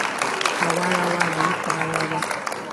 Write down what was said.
àwa ará wa là ń pa ara wa